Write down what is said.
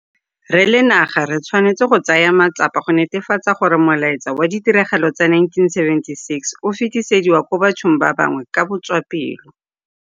Re le naga re tshwanetse go tsaya matsapa go netefatsa gore molaetsa wa ditiragalo tsa 1976 o fetisetswa kwa bathong ba bangwe ka botswapelo.